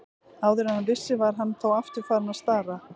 Áður en hann vissi var hann þó aftur farinn að stara.